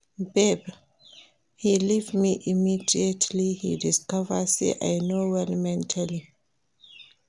Babe, he leave me immediately he discover say I no well mentally